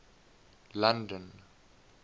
london